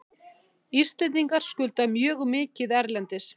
Íslendingar skulda mjög mikið erlendis.